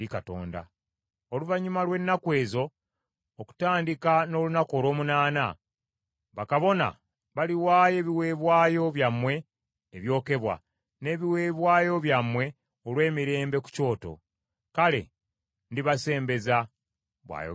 Oluvannyuma lw’ennaku ezo, okutandika n’olunaku olw’omunaana, bakabona baliwaayo ebiweebwayo byammwe ebyokebwa, n’ebiweebwayo byammwe olw’emirembe ku kyoto. Kale ndibasembeza, bw’ayogera Mukama Katonda.”